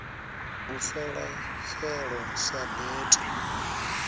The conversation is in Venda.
u fela felo sa bete